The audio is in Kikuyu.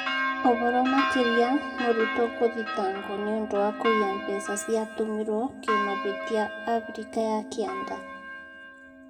Ũhoro makĩria mũrutwo gũthitangwo nĩũndũ wa kũiya mbeca ciatũmirwo kĩmahitia Afrika ya kĩenda